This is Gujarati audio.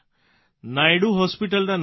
નાયડુ હોસ્પીટલના નામથી